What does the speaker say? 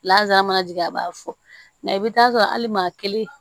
Lazarajigi a b'a fɔ nka i bɛ taa sɔrɔ hali maa kelen